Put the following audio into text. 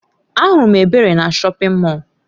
Ahụrụ m Ebere na shọpin Mọll.